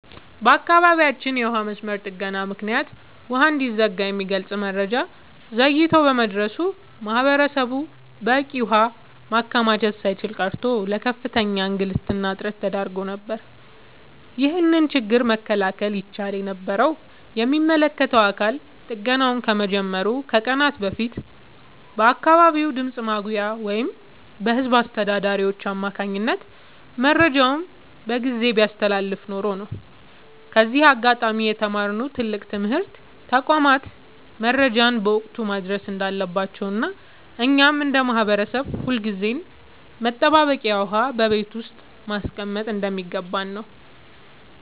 በአካባቢያችን የውሃ መስመር ጥገና ምክንያት ውሃ እንደሚዘጋ የሚገልጽ መረጃ ዘግይቶ በመድረሱ ማህበረሰቡ በቂ ውሃ ማከማቸት ሳይችል ቀርቶ ለከፍተኛ እንግልትና እጥረት ተዳርጎ ነበር። ይህንን ችግር መከላከል ይቻል የነበረው የሚመለከተው አካል ጥገናው ከመጀመሩ ከቀናት በፊት በአካባቢው ድምፅ ማጉያ ወይም በህዝብ አስተዳዳሪዎች አማካኝነት መረጃውን በጊዜ ቢያስተላልፍ ኖሮ ነው። ከዚህ አጋጣሚ የተማርነው ትልቅ ትምህርት ተቋማት መረጃን በወቅቱ ማድረስ እንዳለባቸውና እኛም እንደ ማህበረሰብ ሁልጊዜም መጠባበቂያ ውሃ በቤት ውስጥ ማስቀመጥ እንደሚገባን ነው።